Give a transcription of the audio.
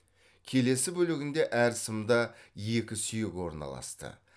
келесі бөлігінде әр сымда екі сүйек орналасты